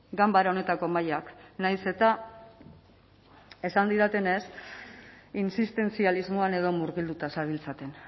ganbara honetako mahaiak nahiz eta esan didatene z insistentzialismoan edo murgilduta zabiltzaten